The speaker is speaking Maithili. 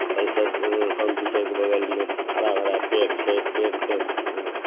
पल्सर कंप्यूटर के बगल में हरा-भरा पेड़ छै पेड़ के----